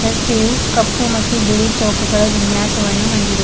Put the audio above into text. ರಸ್ತೆಯು ಕಪ್ಪು ಮತ್ತು ಬಿಳಿ ಚೌಕಗಳ ವಿನ್ಯಾಸವನ್ನು ಹೊಂದಿದೆ.